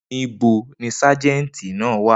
Nibo ni Sájẹ̀ntì náà wa?